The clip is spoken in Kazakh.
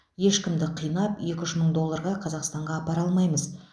ешкімді қинап екі үш мың долларға қазақстанға апара алмаймыз